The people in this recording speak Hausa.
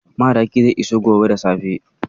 Madaki zai iso gobe da safe.